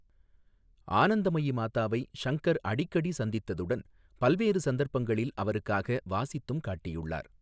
ஆனந்தமயி மாதாவை சங்கர் அடிக்கடி சந்தித்ததுடன் பல்வேறு சந்தர்ப்பங்களில் அவருக்காக வாசித்தும் காட்டியுள்ளார்.